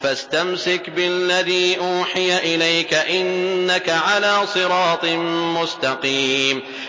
فَاسْتَمْسِكْ بِالَّذِي أُوحِيَ إِلَيْكَ ۖ إِنَّكَ عَلَىٰ صِرَاطٍ مُّسْتَقِيمٍ